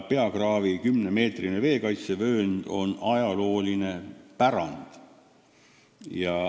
Peakraavi 10-meetrine veekaitsevöönd on ajalooline pärand.